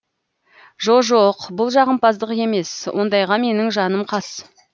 жо жоқ бұл жағымпаздық емес ондайға менің жаным қас